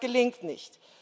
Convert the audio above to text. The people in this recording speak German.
Das gelingt nicht.